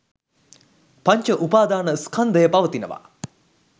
පංච උපාදාන ස්කන්ධය පවතිනවා